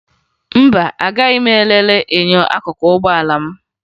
Mba, agaghị m elele enyo akụkụ ụgbọala m